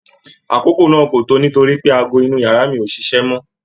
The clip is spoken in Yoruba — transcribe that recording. Àkókò náà ko to nítorípé aago inu yàrá mi ò ṣíṣe mọ